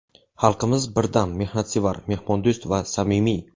Xalqimiz birdam, mehnatsevar, mehmondo‘st va samimiy.